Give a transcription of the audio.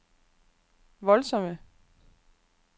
voldsomme